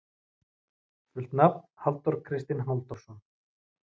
Fullt nafn: Halldór Kristinn Halldórsson.